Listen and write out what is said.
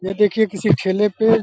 ये देखिये किसी ठेले पे --